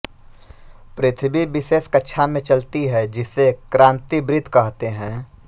पृथ्वी विशेष कक्षा में चलती है जिसे क्रांतिवृत्त कहते हैं